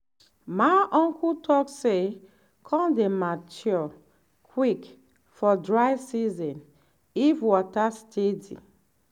my uncle talk say corn dey mature quick for dry season if water steady.